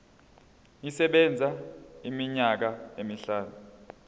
isebenza iminyaka emihlanu